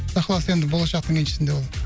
құдай қаласа енді болашақтың еншісінде ол